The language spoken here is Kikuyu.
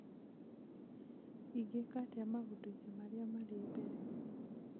ingĩka atĩa maũndũ-inĩ marĩa marĩ mbere